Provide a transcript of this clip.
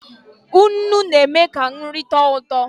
Nnụ na eme ka nri tọọ ụtọ.